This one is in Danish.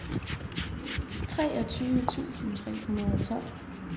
treogtyve tusind tre hundrede og tolv